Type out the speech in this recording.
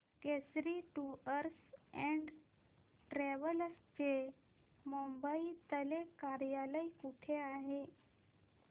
Kesari tours and travels चे मुंबई तले कार्यालय कुठे आहे